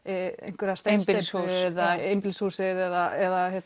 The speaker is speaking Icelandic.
einhverja steinsteypu eða einbýlishús eða